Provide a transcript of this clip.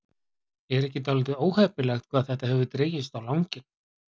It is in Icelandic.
Er ekki dálítið óheppilegt hvað þetta hefur dregist á langinn?